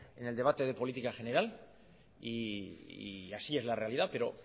en el debate de política general y así es la realidad pero